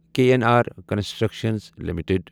K N R construction limited